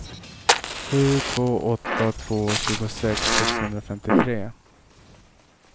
sju två åtta två tjugosex sexhundrafemtiotre